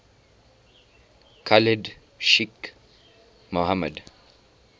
khalid sheikh mohammed